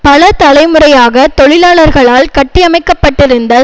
பல தலைமுறையாக தொழிலாளர்களால் கட்டியமைக்கப்பட்டிருந்த